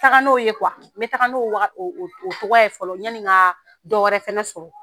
taga n'o ye n bɛ taa n'o o ye fɔlɔ yanni ka dɔw wɛrɛ fɛnɛ sɔrɔ